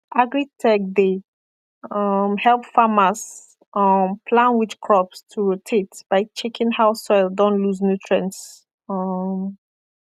agritech dey um help farmers um plan which crops to rotate by checking how soil don lose nutrients um